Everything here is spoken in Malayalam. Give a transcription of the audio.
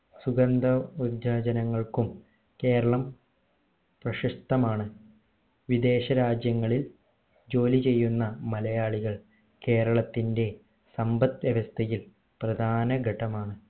സുഗന്ധ വ്യഞ്ജനനങ്ങൾക്കും കേരളം പ്രശസ്തമാണ് വിദേശ രാജ്യങ്ങളിൽ ജോലി ചെയ്യുന്ന മലയാളികൾ കേരളത്തിന്റെ സമ്പത് വ്യവസ്ഥയിൽ പ്രധാന ഘടമാണ്